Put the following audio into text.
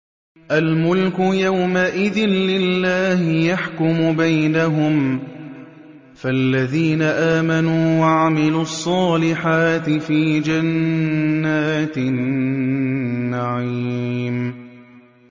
الْمُلْكُ يَوْمَئِذٍ لِّلَّهِ يَحْكُمُ بَيْنَهُمْ ۚ فَالَّذِينَ آمَنُوا وَعَمِلُوا الصَّالِحَاتِ فِي جَنَّاتِ النَّعِيمِ